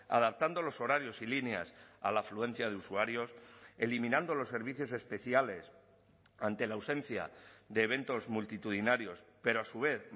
adaptando los horarios y líneas a la afluencia de usuarios eliminando los servicios especiales ante la ausencia de eventos multitudinarios pero a su vez